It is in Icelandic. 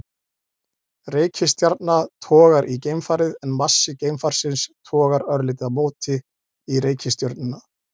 Reikistjarna togar í geimfarið en massi geimfarsins togar örlítið á móti í reikistjörnuna.